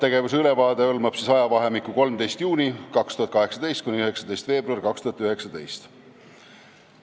Tegevuse ülevaade hõlmab ajavahemikku 13. juunist 2018 kuni 19. veebruarini 2019.